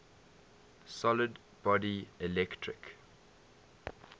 solid body electric